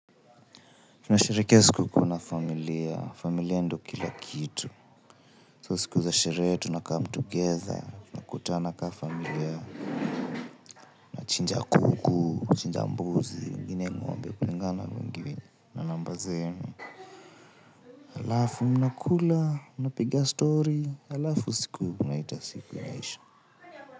Tunasherekea sikukuu na familia, familia ndo kila kitu So siku za sherehe tuna come together, tunakutana kama familia. Chinja kuku, chinja mbuzi, wengine ng'ombe kulingana na wingi wenu na namba zenu. Halafu mnakula, mnapiga story, halafu siku mnaita siku imeisha.